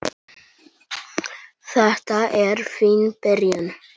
Þetta er fín byrjun.